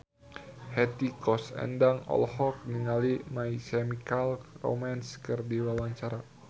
Hetty Koes Endang olohok ningali My Chemical Romance keur diwawancara